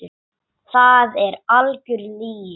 Það er algjör lygi.